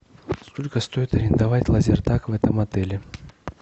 сколько стоит арендовать лазертаг в этом отеле